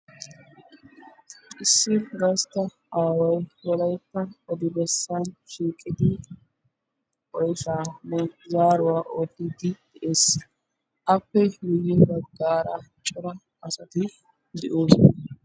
Issi gastta aaway wolaytta odi bessaa shiiqidi oyshaanne zaaruwa oottiiddi de'es. Appe miyye baggaara cora asati de'oosona.